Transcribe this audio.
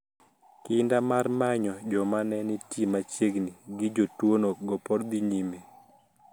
Kinda mar manyo joma ne nitie machiegni gi jotuwono go pod dhi nyime.